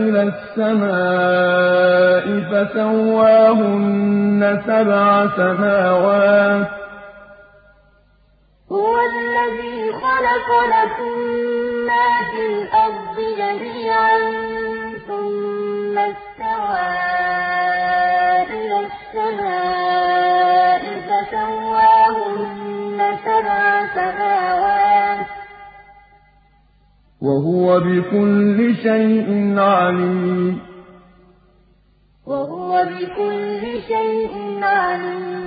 إِلَى السَّمَاءِ فَسَوَّاهُنَّ سَبْعَ سَمَاوَاتٍ ۚ وَهُوَ بِكُلِّ شَيْءٍ عَلِيمٌ هُوَ الَّذِي خَلَقَ لَكُم مَّا فِي الْأَرْضِ جَمِيعًا ثُمَّ اسْتَوَىٰ إِلَى السَّمَاءِ فَسَوَّاهُنَّ سَبْعَ سَمَاوَاتٍ ۚ وَهُوَ بِكُلِّ شَيْءٍ عَلِيمٌ